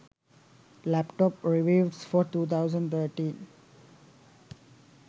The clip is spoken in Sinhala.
laptop reviews for 2013